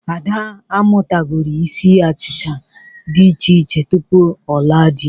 Ada amụtagori isi achicha dị iche iche tupu ọ laa dị.